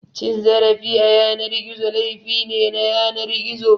Cin zarafi a yanar gizo, laifi ne na yanar gizo.